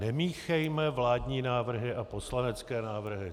Nemíchejme vládní návrhy a poslanecké návrhy.